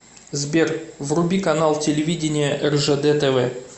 сбер вруби канал телевидения ржд тв